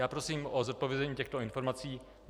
Já prosím o zodpovězení těchto informací.